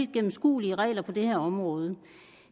gennemskuelige regler på det her område